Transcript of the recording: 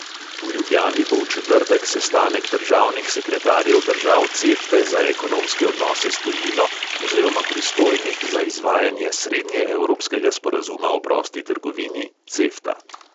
V ljubljani bo v četrtek sestanek državnih sekretarjev držav cefte za ekonomske odnose s tujino oziroma pristojnih za izvajanje srednjeevropskega sporazuma o prosti trgovini – cefta.